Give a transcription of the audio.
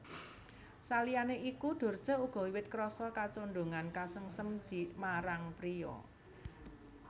Saliyané iku Dorce uga wiwit krasa kacondhongan kasengsem dmarang pria